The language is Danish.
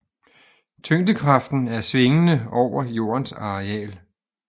Tyngdekraften er svingende over jordens areal